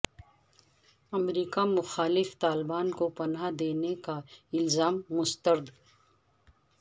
امریکہ مخالف طالبان کو پناہ دینے کا الزام مسترد